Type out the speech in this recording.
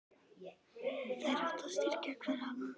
Þeir ættu að styrkja hver annan.